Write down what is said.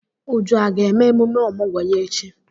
Uju aga eme emume ọmụgwọ ya echi?